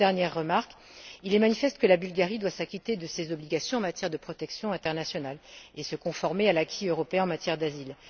Enfin, une dernière remarque. Il est manifeste que la Bulgarie doit s'acquitter de ses obligations en matière de protection internationale et se conformer à l'acquis européen en matière d'asile.